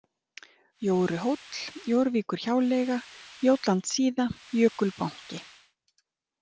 Jóruhóll, Jórvíkurhjáleiga, Jótlandssíða, Jökulbanki